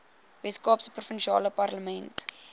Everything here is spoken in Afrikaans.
weskaapse provinsiale parlement